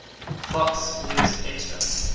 fox news extra